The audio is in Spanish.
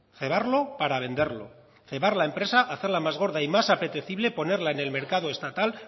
cebarlo para venderlo cebar la empresa hacerla más gorda y más apetecible ponerla en el mercado estatal